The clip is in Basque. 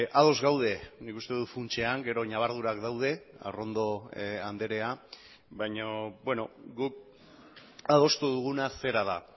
ados gaude nik uste dut funtsean gero ñabardurak daude arrondo andrea baina guk adostu duguna zera da